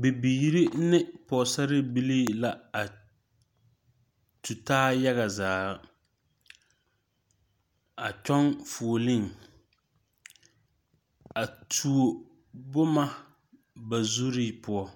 Bibiiri ne pɔgsarre bilii la a tu taa yaga zaa a kyun fuolee a tuo buma ba zuree pou